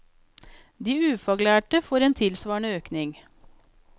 De ufaglærte får en tilsvarende økning.